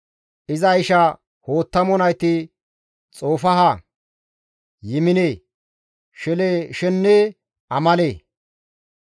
Iza isha Hoottamo nayti Xofaaha, Yimine, Sheleeshenne Amale.